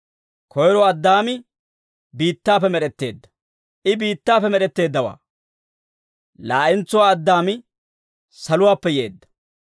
Koyro Addaami biittaappe med'etteedda; I biittaappe med'etteeddawaa. Laa'entsuwaa Addaami saluwaappe yeedda.